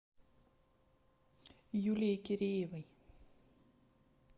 юлией киреевой